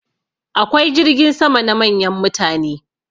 Akwai jirgin sama na manyan mutane.